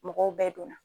Mɔgɔw bɛɛ donna